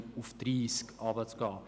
Da kann man nicht drum herum reden.